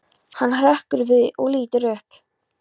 Hann hrekkur við og lítur upp.